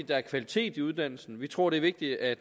der er kvalitet i uddannelsen vi tror det er vigtigt at